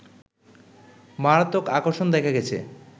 মারাত্মক আকর্ষণ দেখা গেছে